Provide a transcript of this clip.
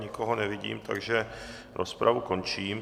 Nikoho nevidím, takže rozpravu končím.